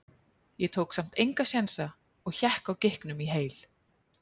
Ég tók samt enga sénsa og hékk á gikknum í heil